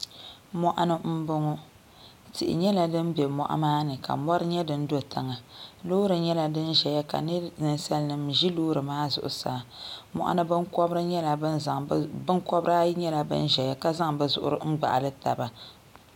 mɔɣuni m-bɔŋɔ tihi nyɛla din be mɔɣu maa ni ka mɔri nyɛ din be tiŋa loori nyɛla din zaya ka ninsalinima ʒi loori maa zuɣusaa mɔɣuni binkɔbiri ayi nyɛla ban zaya ka zaŋ bɛ zuɣiri n-gbaɣili taba